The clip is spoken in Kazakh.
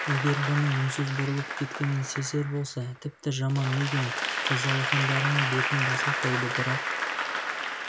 егер бұның үнсіз бұрылып кеткенін сезер болса тіпті жаман мигэн қыз алақандарымен бетін баса қойды бірақ